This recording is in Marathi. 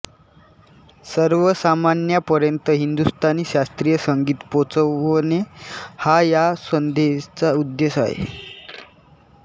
सर्वसामान्यांपर्यंत हिंदुस्तानी शास्त्रीय संगीत पोहोचवणे हा या संस्थेचा उद्देश आहे